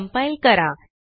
compileकरा